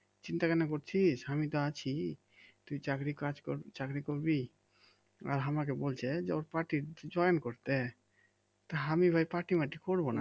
চিন্তা কেন করছিস আমি তো আছি তুই চাকরি কাজ কর চাকরি করবি আর আমাকে বলছে যে ওর পার্টি একটু join করতে তা আমি ভাই পার্টি মার্টি করবনা